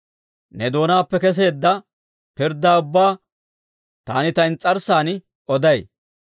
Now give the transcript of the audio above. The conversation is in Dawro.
Ne doonaappe keseedda pirddaa ubbaa, taani ta ins's'arssan oday.